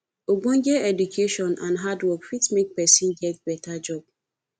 ogbonge education and hand work fit make persin get better job